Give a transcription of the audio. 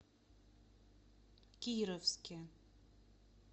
кировске